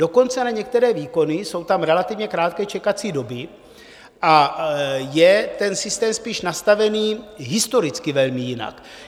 Dokonce na některé výkony jsou tam relativně krátké čekací doby a je ten systém spíš nastavený historicky velmi jinak.